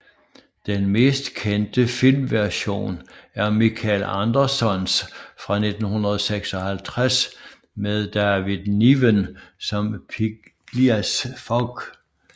Den mest kendte filmversion er Michael Andersons fra 1956 med David Niven som Phileas Fogg